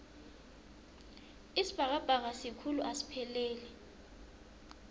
isibhakabhaka sikhulu asipheleli